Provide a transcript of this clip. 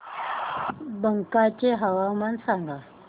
बांका चे हवामान सांगा